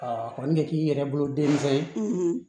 a kɔni ɲɛ k'i yɛrɛ bolo denmisɛn ye